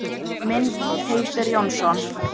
Mynd: Teitur Jónsson.